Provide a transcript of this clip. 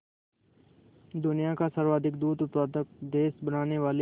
दुनिया का सर्वाधिक दूध उत्पादक देश बनाने वाले